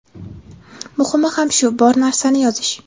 Muhimi ham shu – bor narsani yozish.